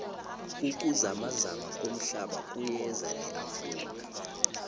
ukuzamazama komhlaba kuyeza neafrika